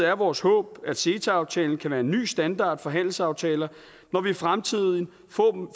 er vores håb at ceta aftalen kan være en ny standard for handelsaftaler når vi i fremtiden